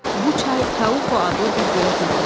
Bu çay Taupo adlı bir gölə tökülürdü.